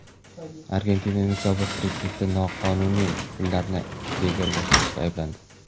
Argentinaning sobiq prezidenti noqonuniy pullarni legallashtirishda ayblandi.